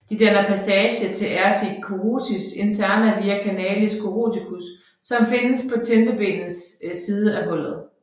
De danner passage til arteria carotis interna via canalis caroticus som findes på tindingebenets side af hullet